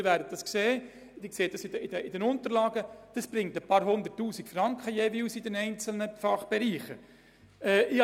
Sie können den Unterlagen entnehmen, dass das ein paar Hunderttausend Franken in den einzelnen Fachbereichen bringt.